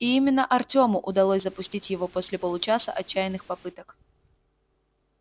и именно артему удалось запустить его после получаса отчаянных попыток